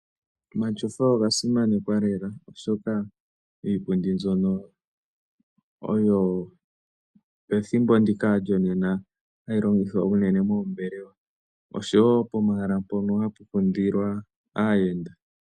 Omatyofa oga simanekwa lela oshoka iipundi mbyono oyo hayi longithwa unene methimbo lyo ngaashingeyi unene pomahala mpono hapu kundilwa aayenda.